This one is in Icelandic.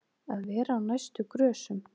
Að vera á næstu grösum